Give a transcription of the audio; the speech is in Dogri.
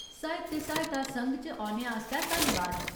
साहित्य सहायता संघ च औने आस्तै धन्नबाद।